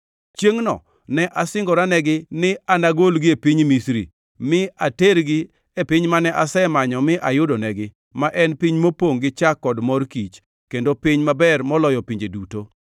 Chiengʼno ne asingoranegi ni anagolgi e piny Misri mi atergi e piny mane asemanyo mi ayudonegi, ma en piny mopongʼ gi chak kod mor kich kendo piny maber moloyo pinje duto.